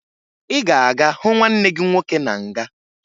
Ị ga-aga hụ nwanne gị nwoke na nga!